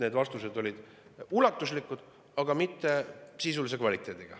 Need vastused olid ulatuslikud, aga neis ei olnud sisulist kvaliteeti.